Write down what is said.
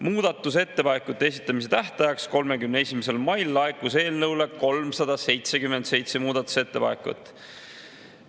Muudatusettepanekute esitamise tähtajaks, 31. maiks laekus eelnõu kohta 377 muudatusettepanekut.